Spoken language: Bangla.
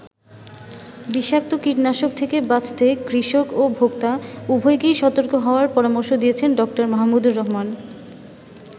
বিষাক্ত কীটনাশক থেকে বাঁচতে কৃষক ও ভোক্তা, উভয়কেই সতর্ক হওয়ার পরামর্শ দিয়েছেন ড. মাহমুদুর রহমান।